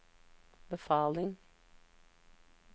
befaling